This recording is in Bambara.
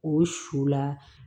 O su la